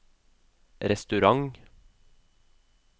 restaurant